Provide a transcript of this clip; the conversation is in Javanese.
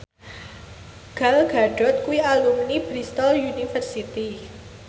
Gal Gadot kuwi alumni Bristol university